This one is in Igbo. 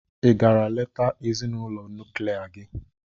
Ị gara leta ezinụlọ nuklia gị?